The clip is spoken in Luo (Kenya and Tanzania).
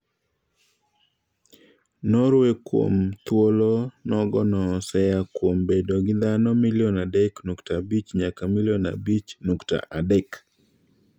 Norway kwuom thuolo nogono oseyaa kwuom bedo gi dhano milion adek nukta abich nyaka milion abich nukta adek.